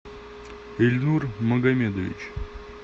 ильнур магомедович